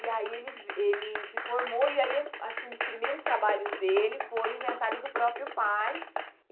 E aí ele ele se formou e aí acho que um dos primeiros trabalhos dele foi o inventário do próprio pai.